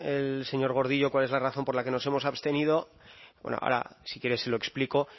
el señor gordillo cuál es la razón por la que nos hemos abstenido bueno ahora si quiere se lo explico